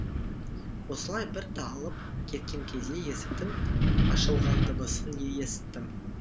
осылай бір талып кеткен кезде есіктің ашылған дыбысын есіттім